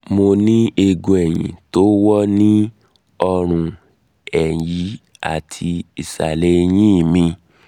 mo ní eegun ẹ̀yìn tó wọ́ ní um ọrùn ẹ̀yì àti um ìsàlẹ̀ ẹ̀yìn mi